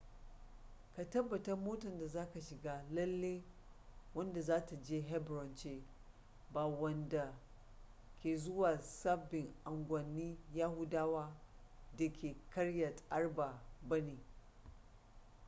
ka tabbatar motar da zaka shiga lalle wadda za ta je hebron ce ba wadanda ke zuwa sabbin unguwanni yahudawa da ke kiryat arba ba ne